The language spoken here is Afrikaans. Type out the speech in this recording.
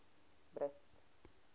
brits